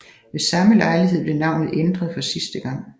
Ved samme lejlighed blev navnet ændret for sidste gang